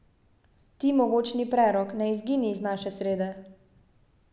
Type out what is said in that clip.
Ti mogočni prerok, ne izgini iz naše srede.